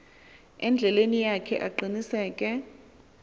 endleleni yakhe aqiniseke